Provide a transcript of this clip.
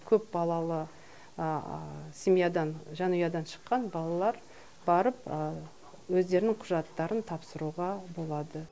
көпбалалы семьядан жанұядан шыққан балалар барып өздерінің құжаттарын тапсыруға болады